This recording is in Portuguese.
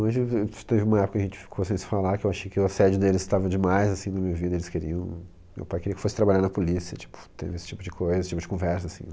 Hoje eu v, teve uma época que a gente ficou sem se falar, que eu achei que o assédio deles estava demais, assim, na minha vida, eles queriam... Meu pai queria que eu fosse trabalhar na polícia, tipo, teve esse tipo de coisa, esse tipo de conversa, assim.